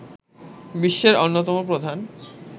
বিশ্বের অন্যতম প্রধান